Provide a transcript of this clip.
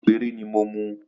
Méjì péré ni mo mu